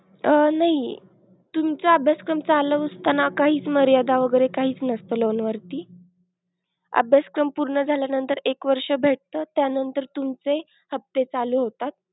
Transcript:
अह नही, तुमचा अभ्यासक्रम चालू असताना काही मर्यादा वैगेरे काहीच नसत loan वरती. अभ्यासक्रम पूर्ण झाल्यानंतर एक वर्ष भेटत त्यानंतर तुमचे हप्ते चालू होतात.